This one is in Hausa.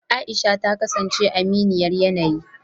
aisha ta kasance aminiyar yanayi